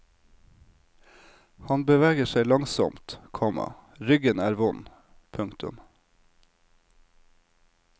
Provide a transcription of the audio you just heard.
Han beveger seg langsomt, komma ryggen er vond. punktum